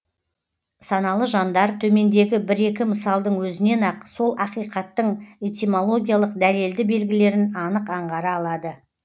саналы жандар төмендегі бір екі мысалдың өзінен ақ сол ақиқаттың этимологиялық дәлелді белгілерін анық аңғара алады